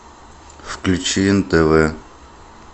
включи нтв